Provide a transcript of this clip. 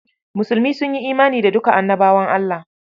Musulmi sun yi imani da duka Annabawa Allah.